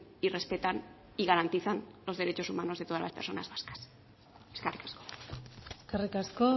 y respetan y garantizan los derechos humanos de todas las personas vascas eskerrik asko